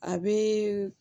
A bɛ